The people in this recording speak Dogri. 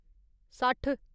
सट्ठ